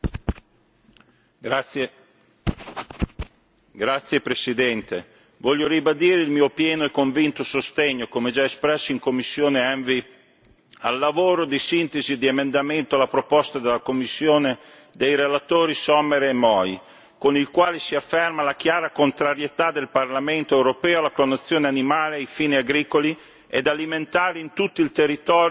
Signor Presidente, onorevoli colleghi, voglio ribadire il mio pieno e convinto sostegno, come già espresso in commissione ENVI, al lavoro di sintesi e di emendamento alla proposta della Commissione dei relatori Sommer e Moi, con il quale si afferma la chiara contrarietà del Parlamento europeo alla clonazione animale ai fini agricoli ed alimentari in tutto il territorio dell'Unione.